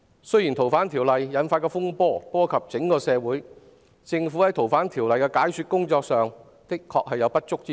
修訂《逃犯條例》引發的風波波及整個社會，政府就修例的解說工作亦確實有不足之處。